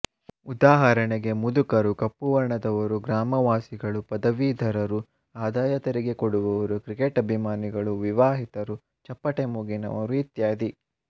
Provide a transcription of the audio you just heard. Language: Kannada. ಉದಾಹರಣೆಗೆ ಮುದುಕರು ಕಪ್ಪುವರ್ಣದವರು ಗ್ರಾಮವಾಸಿಗಳು ಪದವೀಧರರು ಆದಾಯತೆರಿಗೆ ಕೊಡುವವರು ಕ್ರಿಕೆಟ್ ಅಭಿಮಾನಿಗಳು ವಿವಾಹಿತರು ಚಪ್ಪಟೆ ಮೂಗಿನವರು ಇತ್ಯಾದಿ